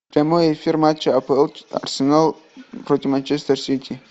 прямой эфир матча апл арсенал против манчестер сити